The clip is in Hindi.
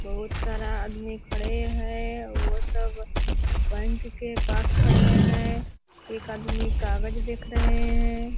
बहोत सारा आदमी खड़े है वो सब बैंक के पास खड़े हैं एक आदमी कागज देख रहे हैं